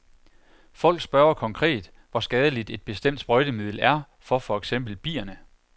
Folk spørger konkret, hvor skadeligt et bestemt sprøjtemiddel er for for eksempel bierne.